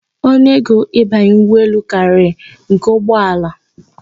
Ọnụego ịbanye ụgbọelu karịrị nke ụgbọala